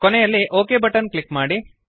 ಕೊನೆಯಲ್ಲಿ ok button click ಮಾಡಿ